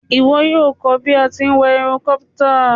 Ìwo yio ko bí a ti n wa helicopter